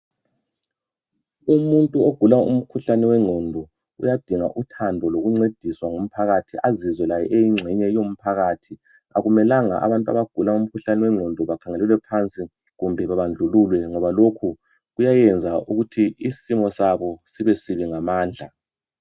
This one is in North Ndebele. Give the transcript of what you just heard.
Umuntu ogula umkhuhlane wengqondo, uyadinga uthando, lokuncediswa ngumphakathi. Azizwe laye, eyingxenye yomphakathi. Akumelanga abantu abagula umkhuhlane wengqondo bakhangelelwe phansi, loba babandlululwe, ngoba lokhu kuyayenza ukuthi, isimo sabo, sibesibi ngamandla.